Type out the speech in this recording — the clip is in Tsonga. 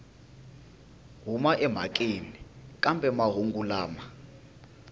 huma emhakeni kambe mahungu lama